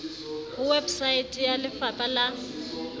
ho website ya lefapa la